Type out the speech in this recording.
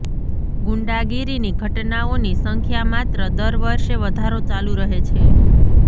ગુંડાગીરીની ઘટનાઓની સંખ્યા માત્ર દર વર્ષે વધારો ચાલુ રહે છે